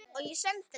Allt og ekkert